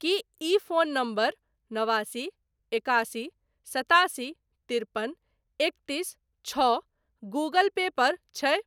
की ई phone number नवासी एकासी सतासी तिरपन एकतीस छओ गूगल पे पर छै?